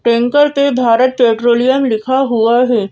Tanker पे Bharat Petroleum लिखा हुआ है।